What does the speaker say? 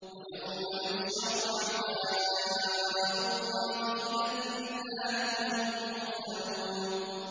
وَيَوْمَ يُحْشَرُ أَعْدَاءُ اللَّهِ إِلَى النَّارِ فَهُمْ يُوزَعُونَ